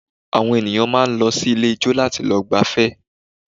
Àwọn ènìyàn máa ń lọ sí ilé ijó láti lọ gbafẹ́